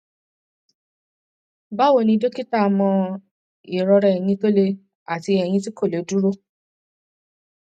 báwo ni dọkítà mo ní ìrora eyín tó le àti eyín tí kò lè dúró